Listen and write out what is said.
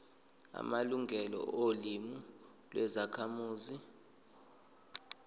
amalungelo olimi lwezakhamuzi